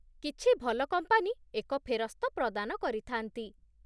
କିଛି ଭଲ କମ୍ପାନୀ ଏକ ଫେରସ୍ତ ପ୍ରଦାନ କରିଥାନ୍ତି।